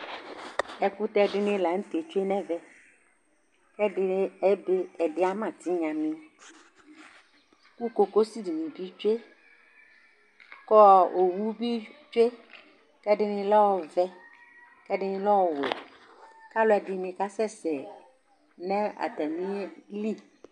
Ɛkʊtɛ dinɩ lanʊtɛ tsue nɛvɛ, ɛdɩ ama tɩɣnamio, ku kokosɩ dinibi tsue, kowʊ bi tsue, kɛdini lɛ ɔvɛ, kɛdini le ɔwɛ, kalʊɛdinɩ kasɛsɛ natamilɩ